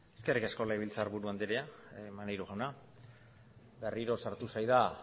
eskerrik asko legebiltzarburu andrea maneiro jauna berriro sartu zara